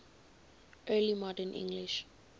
early modern english